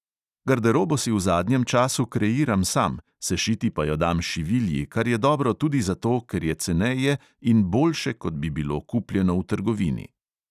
Garderobo si v zadnjem času kreiram sam, sešiti pa jo dam šivilji, kar je dobro tudi zato, ker je ceneje in boljše, kot bi bilo kupljeno v trgovini.